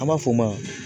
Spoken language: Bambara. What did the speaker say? An b'a fɔ o ma